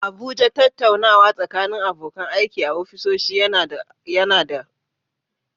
A Abuja, tattaunawa tsakanin abokan aiki a ofisoshi yawanci yana da alaƙa da aiki.